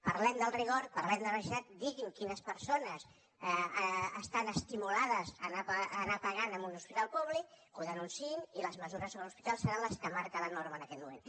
parlem del rigor parlem de la veracitat digui’m quines persones estan estimulades a anar pagant a un hospital públic que ho denunciïn i les mesures sobre els hospitals seran les que marca la norma en aquest moment